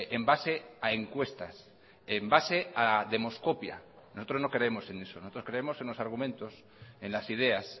en base a encuestas en base a demoscopia nosotros no creemos en eso nosotros creemos en los argumentos en las ideas